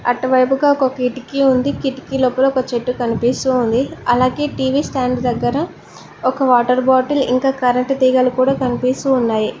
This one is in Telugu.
అటువైపుగా ఒక కిటికీ ఉంది కిటికీ లోపల ఒక చెట్టు కనిపిస్తూ ఉంది అలాగే టీ_వీ స్టాండు దగ్గర ఒక వాటర్ బాటిల్ ఇంకా కరెంట్ తీగలు కూడా కనిపిస్తూ ఉన్నాయి.